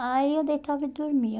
Aí eu deitava e dormia.